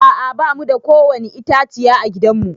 A'a ba mu da kowani itãciya a gidan mu.